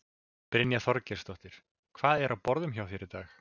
Brynja Þorgeirsdóttir: Hvað er á borðum hjá þér í dag?